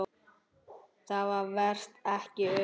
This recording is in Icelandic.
Það væsti ekki um þær.